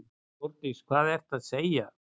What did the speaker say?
Þórdís: Hvað ertu að segja.